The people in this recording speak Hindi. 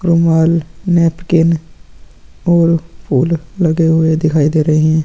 क्रोमआयल नेपकिन और फूल लगे हुए दिखाई दे रहे है।